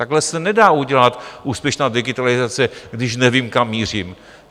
Takhle se nedá udělat úspěšná digitalizace, když nevím, kam mířím.